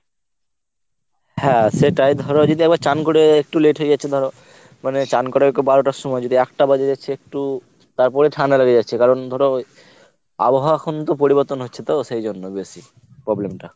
হ্যাঁ সেটাই ধর যদি আবার চান করে একটু late হয়ে গেছে ধর মানে চান কর বারোটার সময় যদি একটা বাজে যাচ্চে একটু তারপরে ঠান্ডা লাগে যাচ্ছে কারণ ধর আবহাওয়া এখন তো পরিবর্তন হচ্ছে তো সেই জন্য বেশি problem টা।